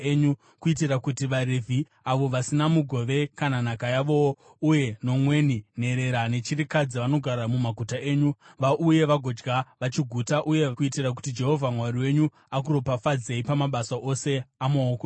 kuitira kuti vaRevhi (avo vasina mugove kana nhaka yavowo) uye nomweni, nherera nechirikadzi vanogara mumaguta enyu, vauye vagodya vachiguta, uye kuitira kuti Jehovha Mwari wenyu akuropafadzei pamabasa ose amaoko enyu.